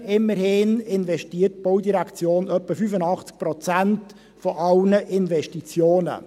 Immerhin investiert die Baudirektion fast 85 Prozent aller Investitionen.